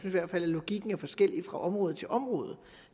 i hvert fald at logikken er forskellig fra område til område